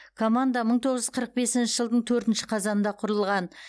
команда мың тоғыз жүз қырық бесінші жылдың төртінші қазанында құрылған